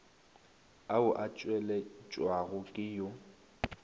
ao a tšweletšwago ke yo